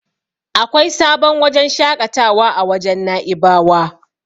Akwai sabon wajen shaƙatawa a wajen Na'ibawa.